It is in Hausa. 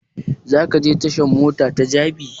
Za ka je tashan mota ta jabi?